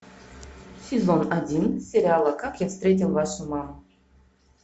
сезон один сериала как я встретил вашу маму